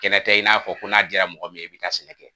Kɛnɛ tɛ i n'a fɔ ko n'a jaara mɔgɔ min ye i bɛ taa sɛnɛ kɛ.